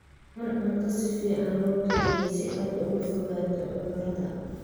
Cun cunto si fiican loo kariyey si aad uga fogaato cudurrada.